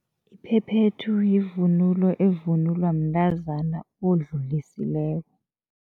Iphephethu yivunulo evunulwa mntazana odlulisileko.